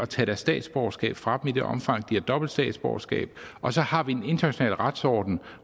tage deres statsborgerskab fra dem i det omfang de har dobbelt statsborgerskab og så har vi en international retsorden